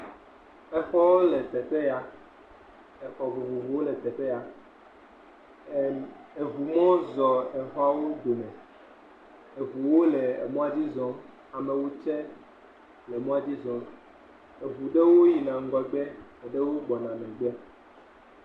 Exɔwo le teƒe ya, exɔ vovovowo le teƒe ya, em eŋu mɔ zɔ exɔawo dome, eŋuwo le emɔa dzi zɔm, amewo tsɛ le emɔa dzi zɔm, eŋu ɖewo yina ŋgɔgbe, eɖewo gbɔna megbe.